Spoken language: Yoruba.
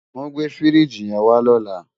Wòn gbé fírìjí yèn wá lòlá